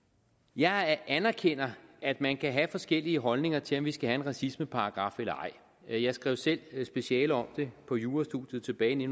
jeg anerkender at man kan have forskellige holdninger til om vi skal have en racismeparagraf eller ej jeg skrev selv speciale om det på jurastudiet tilbage i